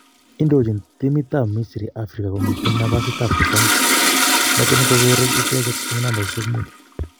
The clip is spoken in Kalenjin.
indojin timit ap misri Africa komiten nafasit ap 30 noton kon koreg icheget en nambaishek mut